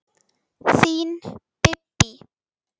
Þín Bíbí.